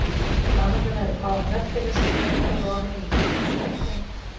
Framundan eru fáein verkefni sem ég er búinn að lofa mér í, sum tengd